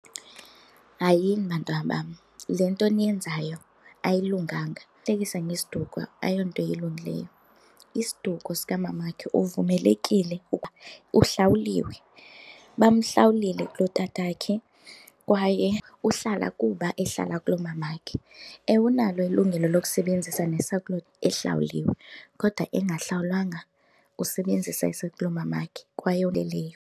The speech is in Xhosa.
Hayini, bantwana bam, le nto niyenzayo ayilunganga! Ukuhlekisa ngesiduko ayonto ilungileyo. Isiduko sikamamakhe uvumelekile kuba uhlawuliwe, bamhlawulile kulotatakhe kwaye uhlala kuba ehlala kulomamakhe. Ewe, unalo ilungelo lokusebenzisa ehlawuliwe kodwa engahlawulwanga, usebenzisa esakulo mamakhe kwaye .